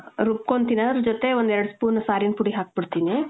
ರುಬ್ಕೊಂತೀನಿ. ಅದರ್ ಜೊತೆ ಒಂದ್ ಎರಡ್ spoon ಸಾರಿನ್ ಪುಡಿ ಹಾಕ್ಬಿಡ್ತೀನಿ.